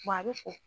a bɛ fɔ